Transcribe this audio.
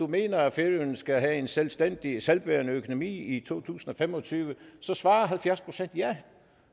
mener at færøerne skal have en selvstændig selvbærende økonomi i to tusind og fem og tyve så svarer halvfjerds procent ja